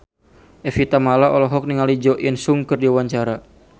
Evie Tamala olohok ningali Jo In Sung keur diwawancara